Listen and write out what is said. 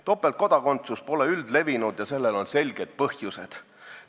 Topeltkodakondsus pole üldlevinud ja sellel on selged põhjused.